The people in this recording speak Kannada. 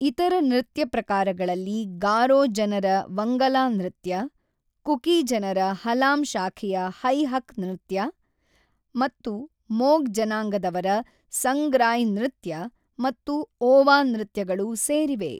ಇತರ ನೃತ್ಯ ಪ್ರಕಾರಗಳಲ್ಲಿ ಗಾರೋ ಜನರ ವಂಗಲಾ ನೃತ್ಯ, ಕುಕಿ ಜನರ ಹಲಾಮ್ ಶಾಖೆಯ ಹೈ-ಹಕ್ ನೃತ್ಯ, ಮತ್ತು ಮೊಗ್ ಜನಾಂಗದವರ ಸಂಗ್ರಾಯ್ ನೃತ್ಯ ಮತ್ತು ಓವಾ ನೃತ್ಯಗಳು ಸೇರಿವೆ.